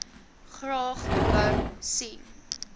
graag wou sien